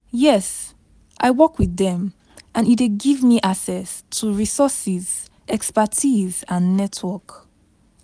Yes, i work with dem and e dey give me access to resources, expertise and network.